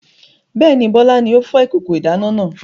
Bẹ́ẹ̀ni, Bọlá ni ó fọ́ ìkókó ìdáná náà.